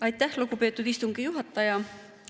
Aitäh, lugupeetud istungi juhataja!